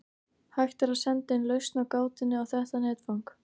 Hægt er að senda inn lausn á gátunni á þetta netfang.